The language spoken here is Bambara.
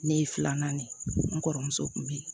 Ne ye filanan de n kɔrɔmuso kun bɛ yen